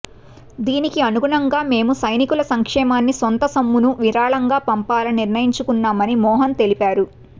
దీనికి అనుగుణంగా మేము సైనికుల సంక్షేమానికి కొంత సొమ్మును విరాళంగా పంపాలని నిర్ణయించుకున్నామని మోహన్ తెలిపారు